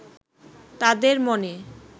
তাঁদের মনে